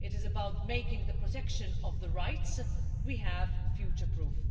It is about making the protection of the rights we have future-proof.